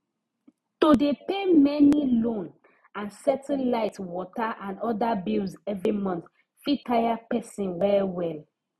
to dey pay many loan and settle light water and other bills every month fit tire person wellwell